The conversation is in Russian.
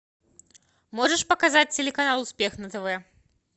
можешь показать телеканал успех на тв